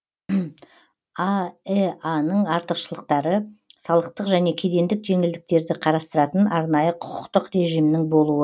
аэа ның артықшылықтары салықтық және кедендік жеңілдіктерді қарастыратын арнайы құқықтық режимнің болуы